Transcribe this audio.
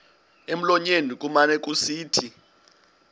emlonyeni kumane kusithi